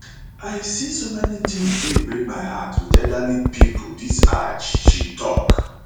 i see so many tins wey break my heart wit elderly pipo dis hajj she tok